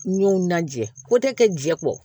N y'o na jɛ ko tɛ kɛ jɛ kɔ